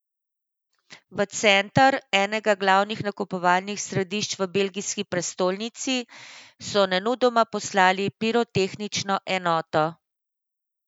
V center, enega glavnih nakupovalnih središč v belgijski prestolnici, so nemudoma poslali pirotehnično enoto.